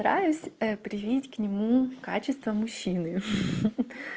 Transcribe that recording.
стараюсь привить к нему качества мужчины